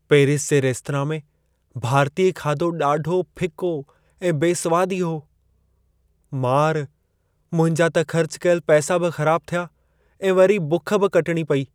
Paris जे restaurant में भारतीय खाधो ॾाढो फिको ऐं बेसवादी हो। मार! मुंहिंजा त ख़र्च कयल पैसा बि ख़राबु थिया ऐं वरी बुख बि कटिणी पेई।